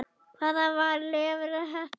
Hvaðan var Leifur heppni?